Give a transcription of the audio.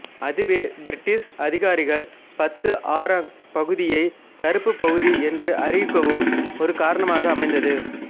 அதுவே பிரிட்டிஷ் அதிகாரிகள் Batu Arang பகுதியை கறுப்பு பகுதி என்று அறிவிக்கவும் ஒரு காரணமாக அமைந்தது